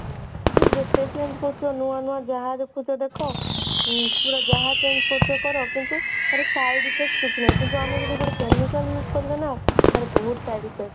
ମୁଁ ଯେତେ change କରୁଛି ଅଲଗା ଅଲଗା ଯାହା ଦେଖୁଛ ଦେଖ ଯାହା change କରୁଛ କର କିନ୍ତୁ ତାର side effects କିଛି ନାହିଁ କିନ୍ତୁ ଆମେ ଯଦି ଗୋଟେ chemical use କରିବା ନା ବହୁତ side effects